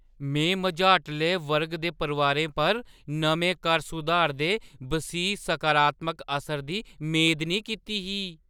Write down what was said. में मझाटले वर्ग दे परोआरें पर नमें कर-सुधार दे बसीह् सकारात्मक असरै दी मेद नेईं कीती ही।